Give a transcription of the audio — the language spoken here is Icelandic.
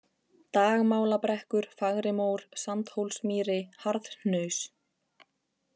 Dagmálabrekkur, Fagrimór, Sandhólsmýri, Harðhnaus